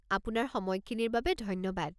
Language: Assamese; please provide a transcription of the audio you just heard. আপোনাৰ সময়খিনিৰ বাবে ধন্যবাদ।